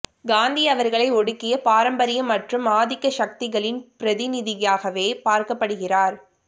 காந்தி அவர்களை ஒடுக்கிய பாரம்பரியம் மற்றும் ஆதிக்க சக்திகளின் பிரதிநிதியாகவே பார்க்கப்படுகிறார்